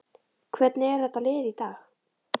Hvernig er þetta lið í dag?